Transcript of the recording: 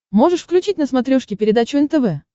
можешь включить на смотрешке передачу нтв